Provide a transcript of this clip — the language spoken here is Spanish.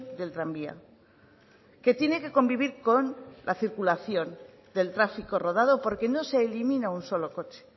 del tranvía que tiene que convivir con la circulación del tráfico rodado porque no se elimina un solo coche